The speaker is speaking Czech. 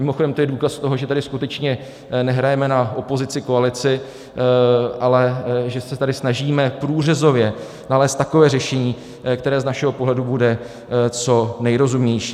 Mimochodem to je důkaz toho, že tady skutečně nehrajeme na opozici, koalici, ale že se tady snažíme průřezově nalézt takové řešení, které z našeho pohledu bude co nejrozumnější.